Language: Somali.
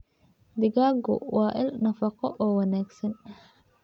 Digaaggu waa il nafaqo oo wanaagsan.